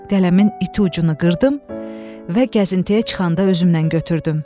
Qələmin iti ucunu qırdım və gəzintiyə çıxanda özümlə götürdüm.